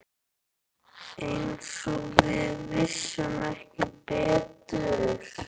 Eins og við vissum ekki betur.